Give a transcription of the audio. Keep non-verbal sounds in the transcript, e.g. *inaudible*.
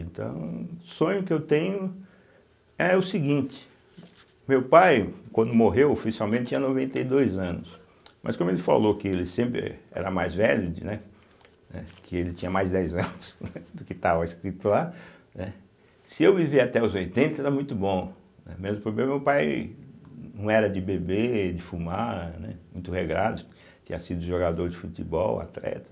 Então, o sonho que eu tenho é o seguinte, meu pai quando morreu oficialmente tinha noventa e dois anos, mas como ele falou que ele sempre era mais velho de, né, né, que ele tinha mais dez anos *laughs* do que estava escrito lá, né, se eu viver até os oitenta está muito bom, mesmo porque meu pai não era de beber, de fumar, né, muito regrado, tinha sido jogador de futebol, atleta,